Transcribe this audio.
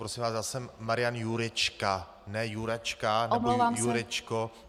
Prosím vás, já jsem Marian Jurečka, ne Juračka nebo Jurečko.